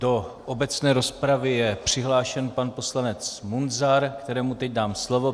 Do obecné rozpravy je přihlášen pan poslanec Munzar, kterému teď dám slovo.